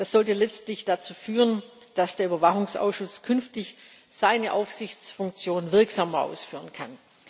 Das sollte letztlich dazu führen, dass der Überwachungsausschuss künftig seine Aufsichtsfunktion wirksamer ausführen kann.